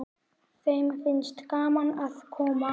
Þeim finnst gaman að koma.